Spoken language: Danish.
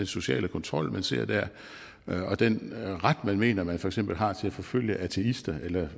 sociale kontrol man ser der og den ret man mener man for eksempel har til at forfølge ateister eller